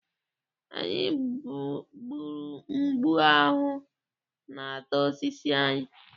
Anyị gburu mgbu ahụ na-ata osisi anyị.